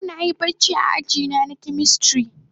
Yau na Yi barci a aji na chemistry.